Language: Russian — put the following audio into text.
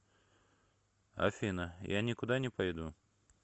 афина я никуда не пойду